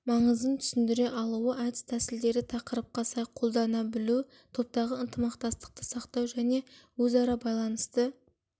маңызын түсіндіре алуы әдіс тәсілдерді тақырыпқа сай қолдана білу топтағы ынтымақтастықты сақтау және өзара байланысты